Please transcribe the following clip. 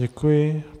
Děkuji.